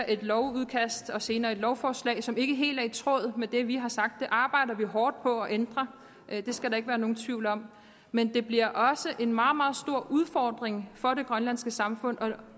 et lovudkast og senere et lovforslag som ikke er helt i tråd med det vi har sagt det arbejder vi hårdt på at ændre det skal der ikke være nogen tvivl om men det bliver også en meget meget stor udfordring for det grønlandske samfund at